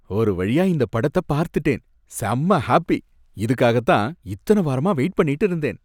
ஒரு வழியா இந்த படத்த பார்த்துட்டேன், செம்ம ஹாப்பி. இதுக்காக தான் இத்தன வாரமா வெயிட் பண்ணிட்டு இருந்தேன்.